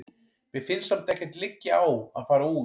Mér finnst samt ekkert liggja á að fara út.